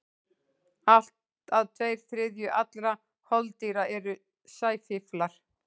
Allt að tveir þriðju allra holdýra eru sæfíflar.